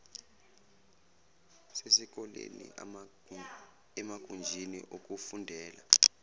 sesikoleni emagunjini okufundela